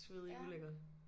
Svedig ulækker